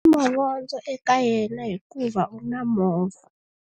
U na mavondzo eka yena hikuva u na movha.